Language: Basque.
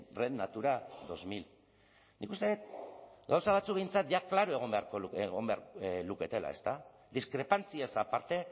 red natura dos mil nik uste dut gauza batzuk behintzat ja klaro egon beharko luketela ezta diskrepantziaz aparte